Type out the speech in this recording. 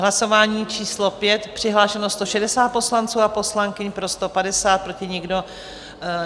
Hlasování číslo 5, přihlášeno 160 poslanců a poslankyň, pro 150, proti nikdo.